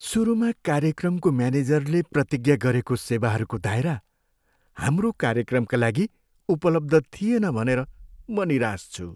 सुरुमा कार्यक्रमको म्यानेजरले प्रतिज्ञा गरेको सेवाहरूको दायरा हाम्रो कार्यक्रमका लागि उपलब्ध थिएन भनेर म निराश छु।